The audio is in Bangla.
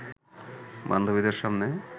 বান্ধবীদের সামনে